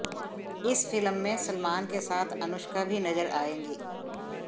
इस फिल्म में सलमान के साथ अनुष्का भी नज़र आएंगी